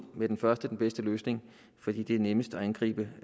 med den første den bedste løsning fordi det er nemmest at angribe